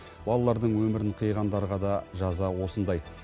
балалардың өмірін қиғандарға да жаза осындай